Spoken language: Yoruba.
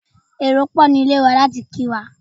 Èrò pò ní ilé wa láti kí wa.